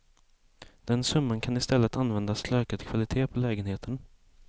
Den summan kan istället användas till ökad kvalitet på lägenheten.